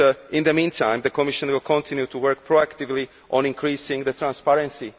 In the meantime the Commission will continue to work proactively on increasing transparency.